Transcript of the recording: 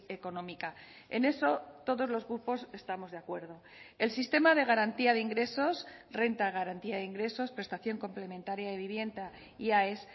económica en eso todos los grupos estamos de acuerdo el sistema de garantía de ingresos renta de garantía de ingresos prestación complementaria de vivienda y aes